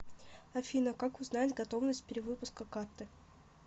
афина как узнать готовность перевыпуска карты